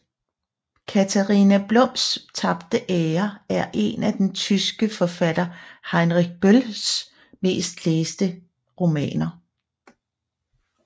Katharina Blums tabte ære er en af den tyske forfatter Heinrich Bölls mest læste romaner